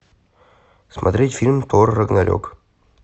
смотреть фильм тор рагнарек